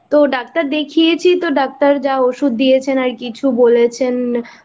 তো ডাক্তার দেখিয়েছি তো ডাক্তার যা ওষুধ দিয়েছেন আর কিছু বলেছেন